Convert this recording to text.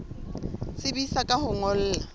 tsebisa ka ho o ngolla